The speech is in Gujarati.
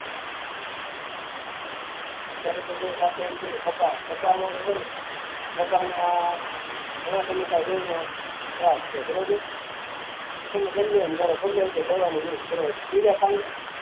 અત્યારે તો જો આપડે એમ કહીએ ક કપા કપામાં કપા ના ઘણા સમયથી આ ઈયર નો ત્રાસ છે બરોબર તમે ગમેતે એમ દવા નો use કરો